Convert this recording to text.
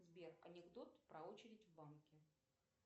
сбер анекдот про очередь в банке